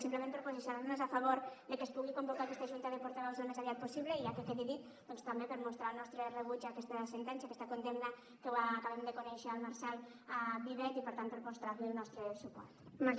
simplement per posicionar nos a favor de que es pugui convocar aquesta junta de portaveus al més aviat possible i ja que quede dit doncs també per mostrar el nostre rebuig a aquesta sentència aquesta condemna que ho acabem de conèixer al marcel vivet i per tant per mostrar li el nostre suport